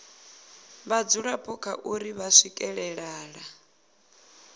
vhadzulapo kha uri vha swikelela